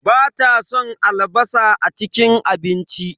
Bata son albasa a cikin abinci.